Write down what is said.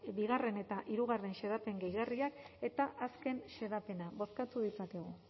eta hirugarrena xedapen gehigarriak eta azken xedapena bozkatu ditzakegu